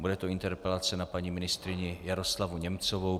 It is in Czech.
Bude to interpelace na paní ministryně Jaroslavu Němcovou.